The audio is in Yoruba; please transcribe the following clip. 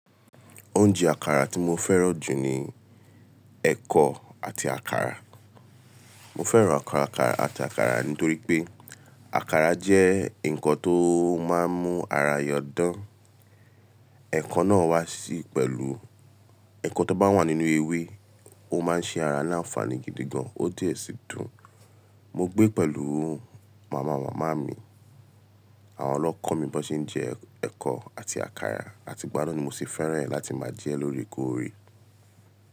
Oúnjẹ àkàrà tí mo fẹ́ràn jù ni ẹ̀kọ àti àkàrà. Mo fẹ́ràn àkàrà àti àkàrà nítorí pé àkàrà jẹ́ nǹkan tó máa ń mú ara yan dán. Ẹ̀kọ náà wà sí pẹ̀lú, ẹ̀kọ tó bá wà nínú ewé, ó máa ń ṣe ara ní ànfàní gidi gan, ó dẹ sì dùn. Mogbé pẹ̀lú màmá màmá mi àwọn ni wọ́n kọ́ mi bíwọn ṣe ń jẹ ẹ̀kọ and àkàrà àti ìgbà náà ni moti fẹ́ràn ẹ láti máa jẹ lóòrèkóòrè.